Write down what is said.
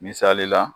Misali la